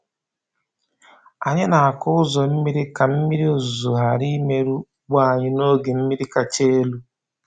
Anyị na-akụ ụzọ mmiri ka mmiri ozuzo ghara imerụ ugbo anyị n’oge mmiri kacha elu.